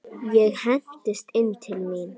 Ég hendist inn til mín.